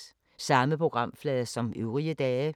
Samme programflade som øvrige dage